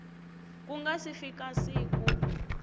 ku nga si fika siku